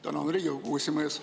Tänan, Riigikogu esimees!